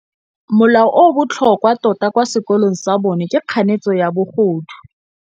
Molao o o botlhokwa tota kwa sekolong sa bone ke kganetsô ya bogodu.